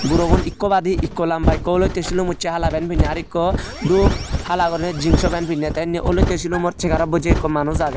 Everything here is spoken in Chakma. gurogun ekko badi ekko lamba ekko olotte silum ucche hala pen pinney ar ekko dup hala gurinei jingso pen pinney ty inni olotte sulumor segarot bocche ekko manus age.